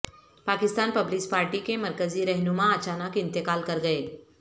Pakistan Peoples Party کےمرکزی رہنما اچانک انتقال کر گئے